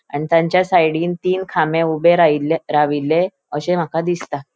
आणि तांचा साइडीन तीन खामे ऊबे राईले राविल्ले अशे माका दिसता.